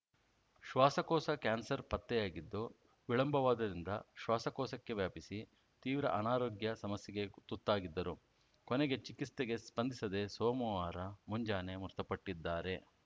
ಶ್ವಾಸಕೋಶ ಕ್ಯಾನ್ಸರ್‌ ಪತ್ತೆಯಾಗಿದ್ದು ವಿಳಂಬವಾದ್ದರಿಂದ ಶ್ವಾಸಕೋಶಕ್ಕೆ ವ್ಯಾಪಿಸಿ ತೀವ್ರ ಅನಾರೋಗ್ಯ ಸಮಸ್ಯೆಗೆ ತುತ್ತಾಗಿದ್ದರು ಕೊನೆಗೆ ಚಿಕಿತ್ಸೆಗೆ ಸ್ಪಂದಿಸದೆ ಸೋಮವಾರ ಮುಂಜಾನೆ ಮೃತಪಟ್ಟಿದ್ದಾರೆ